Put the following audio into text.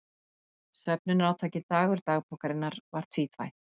Söfnunarátakið Dagur dagbókarinnar var tvíþætt.